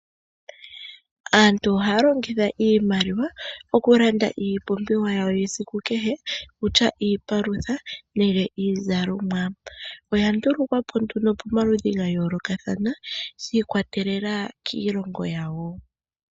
Aantu ohaya longitha iimaliwa oku landa iipumbiwa yawo yesiku kehe kutya iipalutha nenge iizalomwa. Oya ndulukwa po nduno pamaludhi ga yoolokathana, shi ikwa telela kiilongo yawo.